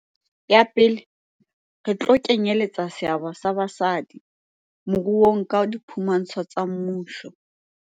Ya pele, re tlo kenyeletsa seabo sa basadi moruong ka diphu mantsho tsa mmuso.